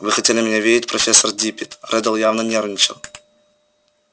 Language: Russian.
вы хотели меня видеть профессор диппет реддл явно нервничал